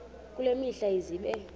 kule mihla zibe